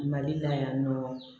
Mali la yan nɔ